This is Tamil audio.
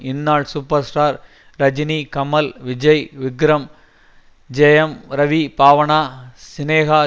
இந்நாள் சூப்பர் ஸ்டார் ரஜினி கமல் விஜய் விக்ரம் ஜெயம் ரவி பாவனா சினேகா